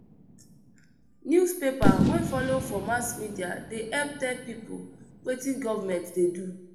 Newspaper wey folo for mass media dey help tell pipo wetin government dey do.